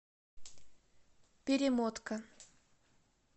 перемотка